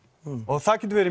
það getur verið